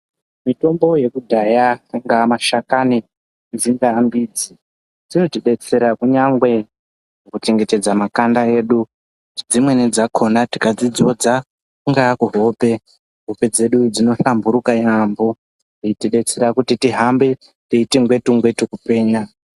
Mitombo yekudhaya angaa mashakani dzingaa mbidzi dzinotibetsera kunyangwe kuchengetedza makanda edu dzimweni dzakona tikadzidzodza kungaa kuhope ,hope dzedu dzinohlamburuka yaamho eitidetsera kuti tihambe teiti ngwetu-ngwetu kupenya.